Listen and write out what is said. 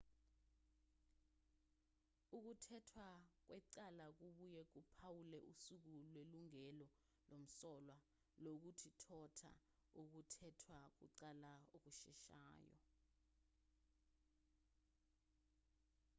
ukuthethwa kwecala kubuye kuphawule usuku lwelungelo lomsolwa lokuthotha ukuthethwa kwecala okusheshayo